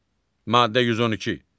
Maddə 112.